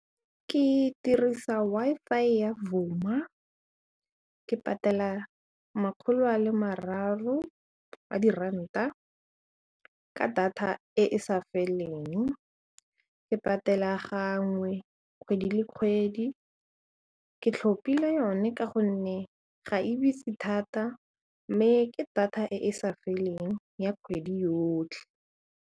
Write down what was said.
Ke dirisa Wi-Fi ya Vuma ke patela makgolo a le mararo a di ranta ka data e e sa feleng, ke patela gangwe kgwedi le kgwedi ke tlhopile yone ka gonne ga e bitse thata mme ke data e e sa feleng ya kgwedi yotlhe.